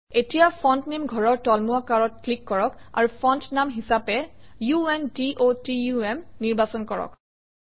এতিয়া ফন্ট নামে ঘৰৰ তুলমুৱা কাঁড়ত ক্লিক কৰক আৰু ফণ্ট নাম হিচাপে আণ্ডটাম নিৰ্বাচন কৰক